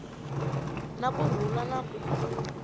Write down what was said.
na ku rhula na ku